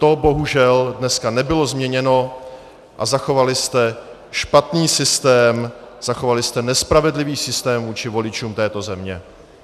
To bohužel dneska nebylo změněno a zachovali jste špatný systém, zachovali jste nespravedlivý systém vůči voličům této země.